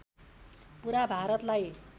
पुरा भारतलाई